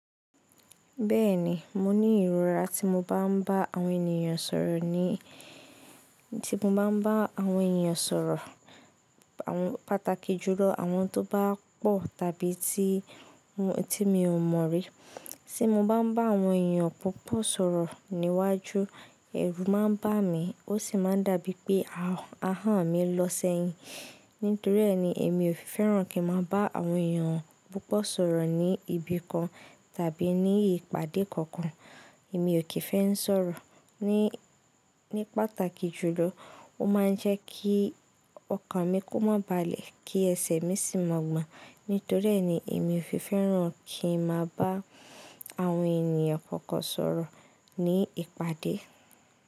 Bẹ́ẹ̀ni, mo ní ìrora tí mo bá ń bá àwọn ènìyàn sọ̀rọ̀ ní, tí mo bá ń bá àwọn ènìyàn sọ̀rọ̀, àwọn pàtàkì jùlọ àwọn tó bá pọ̀ tàbí tí, tí mi ò mọ̀ rí. Tí mo bá ń bá àwọn èeyàn púpọ̀ sọ̀rọ̀ níwájú, ẹ̀rù má ń bá mi, ó sì máa ń dàbíi pé ahọ́n mi lọ sẹ́yìn. Nítorí ẹ ni èmi ò fi fẹ́ràn kí n máa bá àwọn èeyàn púpọ̀ sọ̀rọ̀ ní ibi kan tàbí ní ìpàdé kankan. Èmi ò kì i fẹ́ ń sọ̀rọ̀ ní, ní pàtàkì jùlọ. Ó máa ń jẹ́ kí ọkàn mi kó mọ́ balẹ̀, kí ẹsẹ̀ mi sì máa gbọ́n. Nítorí ẹ ni èmi o fi fẹ́ràn kí ń máa bá àwọn ènìyàn kankan sọ̀rọ̀ ní ìpàdé.